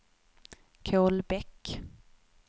Kolbäck